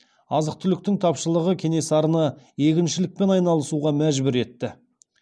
азық түліктің тапшылығың кенесарыны егіншілікпен айналысуға мәжбүр етті